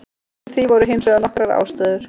Fyrir því voru hins vegar nokkrar ástæður.